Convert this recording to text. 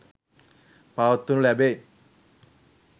පවත්වනු ලැබේ.